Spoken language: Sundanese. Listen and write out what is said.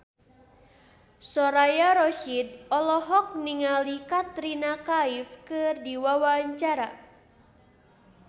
Soraya Rasyid olohok ningali Katrina Kaif keur diwawancara